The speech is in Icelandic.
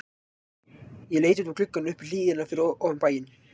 Ég leit út um gluggann upp í hlíðina fyrir ofan bæinn.